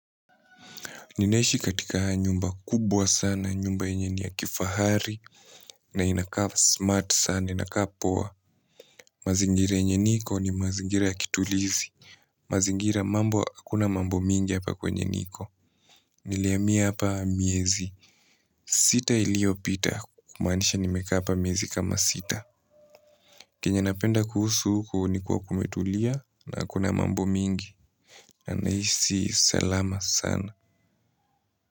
Ninaishi katika nyumba kubwa sana, nyumba yenye ya kifahari na inakaa smart sana. Inakaa poa. Mazingira yenye niko ni mazingira ya kitulizi. Hakuna mambo mingi hapa kwenye niko. Nilihamia hapa miezi sita iliyopita, kumaanisha nimekaa hapa miezi kama sita. Kile ninachopenda kuhusu huku ni kuwa kumetulia na hakuna mambo mingi. Ninaishi salama sana.